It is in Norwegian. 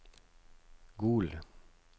Gol